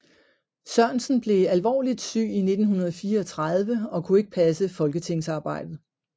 Sørensen blev alvorligt syg i 1934 og kunne ikke passe folketingsarbejdet